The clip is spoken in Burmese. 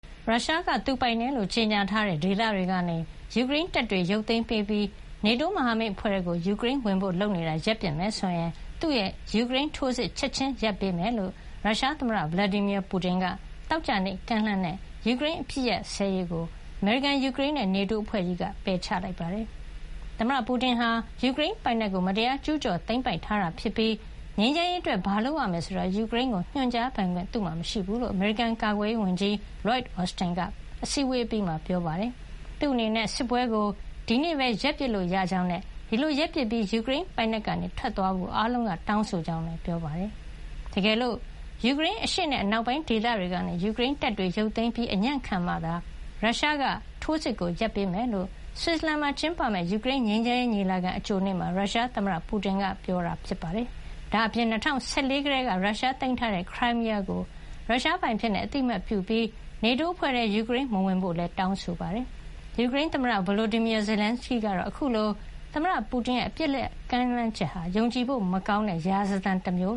ရုရှားက သူပိုင်တယ်လို့ ကြေညာထားတဲ့ ဒေသတွေကနေ ယူကရိန်းတပ်တွေ ရုပ်သိမ်းပေးပြီး NATO မဟာမိတ်အဖွဲ့ထဲ ယူကရိန်းဝင်ဖို့လုပ်နေတာကို ရပ်ပစ်မယ်ဆိုရင် သူ့ရဲ့ ယူကရိန်းထိုးစစ်ကို ချက်ချင်းရပ်ဆိုင်းပေးမှာဖြစ်ကြောင်း ရုရှားသမ္မတ Vladimir Putin က သောကြာနေ့ ကမ်းလှမ်းတဲ့ ယူကရိန်းအပစ်အခတ်ရပ်စဲရေးကို အမေရိကန်၊ ယူကရိန်းနဲ့ NATO အဖွဲ့ကြီးက ပယ်ချလိုက်ပါတယ်။ ရုရှားသမ္မတ Putin ဟာ ယူကရိန်းပိုင်နက်ကို မတရားကျူးကျော် သိမ်းပိုက်ထားတာဖြစ်ပြီး ငြိမ်းချမ်းရေးအတွက် ဘာလုပ်ရမယ်ဆိုတာ ယူကရိန်းကို ညွှန်ကြားပိုင်ခွင့် သူ့မှာ မရှိဘူးလို့ အမေရိကန်ကာကွယ်ရေးဝန်ကြီး Llyod Austin က ဘရပ်ဆဲလ်မှာကျင်းပတဲ့ NATO အစည်းအဝေးအပြီးမှာ ပြောပါတယ်။ သူ့အနေနဲ့ စစ်ပွဲကို ဒီနေ့ပဲ ရပ်ပစ်လို့ရကြောင်းနဲ့ ဒီလိုရပ်ပစ်ပြီး၊ ယူကရိန်းပိုင်နက်ကနေ ထွက်ခွါသွားဖို့ အားလုံးက တောင်းဆိုကြောင်းလည်း ပြောပါတယ်။ တကယ်လို့ ယူကရိန်း အရှေ့နဲ့ အနောက်ပိုင်းဒေသတွေကနေ ယူကရိန်းတပ်တွေ ရုပ်သိမ်းပေးပြီး အညံ့ခံမှသာ ရုရှားက ထိုးစစ်ကို ရပ်ပေးမှာဖြစ်ကြောင်း ဆွစ်ဇလန်မှာ ကျင်းပမယ့် ယူကရိန်းငြိမ်းချမ်းရေးညီလာခံ အကြိုနေ့မှာ ရုရှားသမ္မတ Putin က ပြောကြားခဲ့တာ ဖြစ်ပါတယ်။ ဒါ့အပြင် ၂၀၁၄ ကတည်းက ရုရှားသိမ်းထားတဲ့ Crimea ခရိုင်မီးယားကို ရုရှားပိုင်အဖြစ် အသိမှတ်ပြုပြီး NATO အဖွဲ့ထဲ ယူကရိန်းမဝင်ဖို့ တောင်းဆိုခဲ့တာပါ။ ယူကရိန်းသမ္မတ Volodymyr Zelenskyy ကတော့ အခုလို သမ္မတ Putin ရဲ့ အပစ်ရပ် ကမ်းလှမ်းချက်ဟာ ယုံကြည်ဖို့ မကောင်းတဲ့ ရာဇသံတမျို